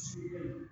Si